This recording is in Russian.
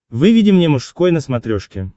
выведи мне мужской на смотрешке